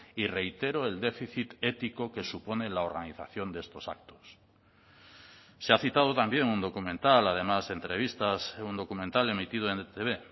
y reitero el déficit ético que supone la organización de estos actos se ha citado también un documental además entrevistas un documental emitido en etb